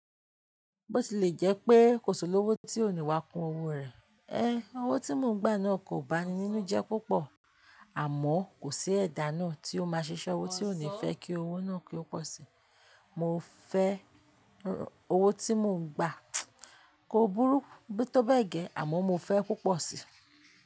Bó ti lè jẹ́ pé kò sì lówó tí onìwà kún owó rẹ̀, ẹ, owó tí mò ń gbà náà kò bá ni nínú jẹ́ púpọ̀, àmọ́ kò sí ẹ̀dà náà tí ó máa ṣiṣẹ́ owó tí onì fẹ́ kí owó náà kí ó pọ̀ síi. Mo fẹ́ owó tí mò ń gbà kò burú bíi tó bẹ́gẹ̀, àmọ́ mo fẹ́ púpọ̀ síi.